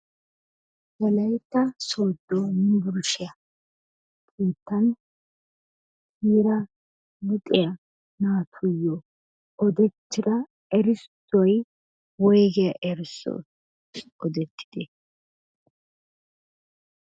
Wolaytta Soodo Yunbburshiya sinttan eraa luxiyaa naatuyo odettira erissoy woyggiya erissoy odetidee?